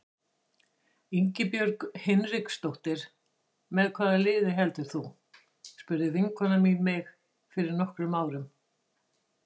Ingibjörg Hinriksdóttir Með hvaða liði heldur þú? spurði vinkona mín mig fyrir nokkrum árum.